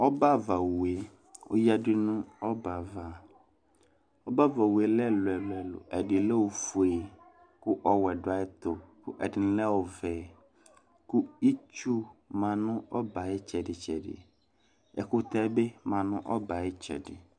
Ɔbɛavawue oyadu nu ɔbɛava Ɔbɛavawue ɔlɛ ɛluɛlu Ɛdilɛ ofue kulɔ wɛ ɔdu ayɛtu ɛdini lɛ ɔvɛ ,ku itsu ma nu ɔbɛ ayitsɛdi tsɛdi Ɛkutɛ bi ma nu ɔbɛ ayitsɛdi